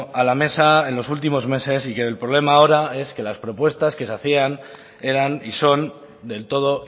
a la mesa en los últimos meses y que el problema ahora es que las propuestas que se hacían eran y son del todo